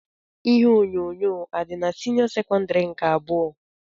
Ihe onyonyo adị n'senio sekondari nke abụọ?